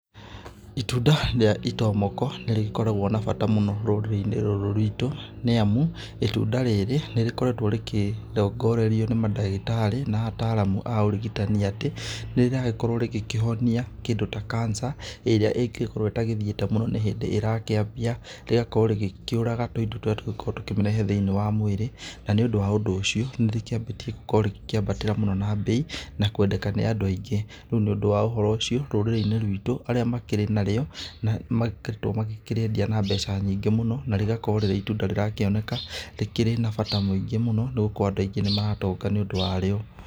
Itunda rĩa itomoko nĩ rĩgĩkoragwo na bata mũno rũrĩrĩ-inĩ rũrũ rwitũ nĩ amu itunda rĩrĩ, nĩ rĩkoretwo rĩkĩrongorerio nĩ mandagĩtarĩ na ataramu aũrigitani atĩ nĩ rĩragĩkorwo rĩgĩkĩhonia kĩndũ ta cancer, ĩrĩa ingĩgĩkorwo ĩtagĩthĩte mũno nĩ hĩndĩ ĩrakĩambia. Rĩgakorwo rĩgĩkĩũraga tũindo tũrĩa tũngĩgĩkorwo tũkĩmĩrehe thĩiniĩ wa mwĩrĩ. Na nĩ ũndũ wa ũndũ ũcio nĩrĩkĩambĩtie gũkorwo rikĩambatĩra mũno na mbei na kwendeka mũno nĩ andũ aingĩ. Rĩu nĩ ũndũ wa ũhoro ũcio rũrĩrĩ-inĩ rwitũ arĩa makĩrĩ narĩo nĩ magĩkoretwo makĩrĩendia na mbeca nyingĩ mũno, na rĩgakorwo rĩrĩ itunda rĩrakĩoneka rĩkĩrĩ na bata mũingĩ mũno nĩ gũkorwo andũ aingĩ nĩ maratonga nĩ ũndũ wa rĩo.